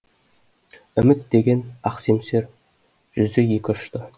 үміт деген ақ семсер жүзі екі ұшты